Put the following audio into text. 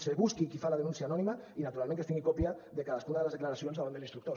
es busqui qui fa la denúncia anònima i naturalment que es tingui còpia de cadascuna de les declaracions davant de l’instructor